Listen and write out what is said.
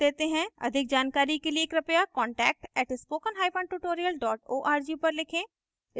अधिक जानकारी के लिए कृपया contact at spoken hyphen tutorial dot org पर लिखें